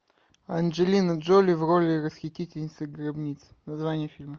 анджелина джоли в роли расхитительницы гробниц название фильма